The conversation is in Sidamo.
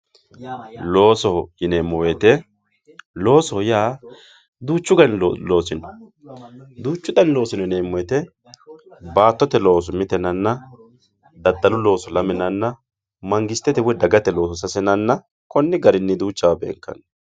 loosoho yineemmo woyte duuchu gari loosi no duuchu dani loosi no yineemmo woyte baattotete looso mite yinanna daddalu looso lame yinanna, mangistette looso woy dagate looso sase yinanna konni garinni duuchawa beenkanni.